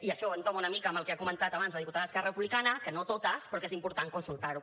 i això entoma una mica amb el que ha comentat abans la diputada d’esquerra republicana que no totes però que és important consultar ho